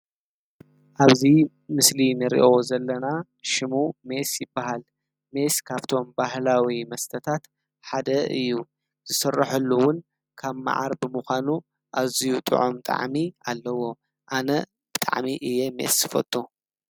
ኣብዚ ምስሊ እንሪኦ ዘለና ሽሙ ሜስ ይባሃል። ሜስ ካብቶም ባህላዊ መስተታት ሓደ እዩ፡፡ ዝስረሐሉ እውን ካብ መዓር ብምኳኑ ኣዝዩ ጥዑም ጣዕሚ ኣለዎ፡፡ ኣነ ብጣዕሚ እየ ሜስ ዝፈቱ፡፡